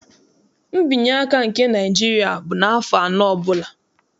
Nbinyeaka nke Naịjiria bụ n'afọ anọ ọbụla.